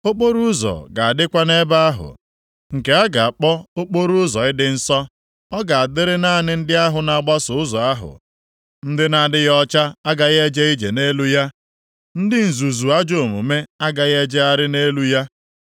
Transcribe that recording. Okporoụzọ ga-adịkwa nʼebe ahụ, nke a ga-akpọ, Okporoụzọ Ịdị Nsọ, Ọ ga-adịrị naanị ndị ahụ na-agbaso Ụzọ ahụ. Ndị na-adịghị ọcha agaghị eje ije nʼelu ya, ndị nzuzu ajọ omume + 35:8 Ndị nwere uche gbagọrọ agbagọ agaghị ejegharị nʼelu ya.